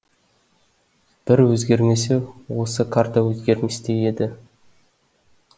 бір өзгермесе осы карта өзгерместей еді